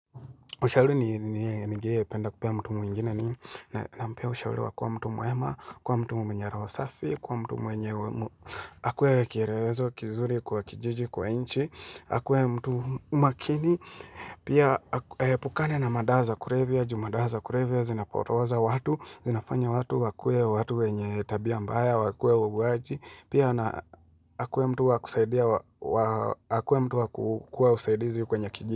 Ushauli ningependa kupea mtu mwingine ni na mpea ushauluwa kuwa mtu mwema, kuwa mtu mwenye roho safi, kuwa mtu mwenye akwe kirewezo, kizuri, kwa kijiji, kwa inchi, akwe mtumu makini, pia epukana na madawa za kurevia, jumadawa za kurevia, zinapotoza watu, zinafanya watu, wakwe watu wenye tabia mbaya, wakwe wauwaji, pia na akwe mtu wakusaidia, akwe mtu wakukua usaidizi kwenye kijiji.